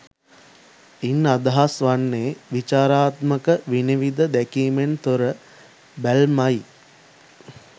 ඉන් අදහස් වන්නේ විචාරාත්මක විනිවිද දැකීමෙන් තොර බැල්මයි